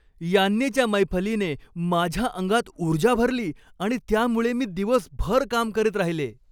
यान्नीच्या मैफलीने माझ्या अंगात ऊर्जा भरली आणि त्यामुळे मी दिवसभर काम करत राहिले.